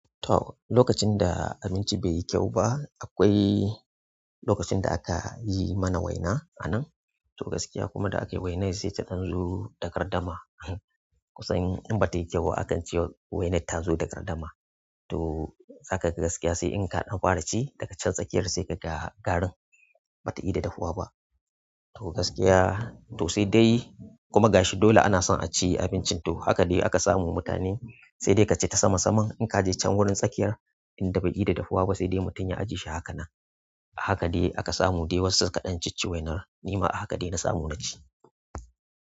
To, lokacin da abinci bai yi kyau ba, akwai lokacin da aka yi mana waina a nan. To gaskiya kuma da akai wainar sai ta dan zo da gardama. In bata yi kyau akan ce wai wainar ta zo da ƙardama. To zakaga gaskiya sai in ka ɗan fara ci daga can tsakiyar sai kaga garin bata ida dahuwa ba. To gaskiya to sai dai kuma gashi dole ana son a ci abincin to haka dai aka samu mutane sai dai kaci ta sama saman in ka je can wurin tsakiyar in da bai yi da dafuwa ba sai dai mutum ya ajiye shi haka nan. Haka dai aka samu dai wasu suka ɗan cicci waina. Nima ahaka dai na samu na ci.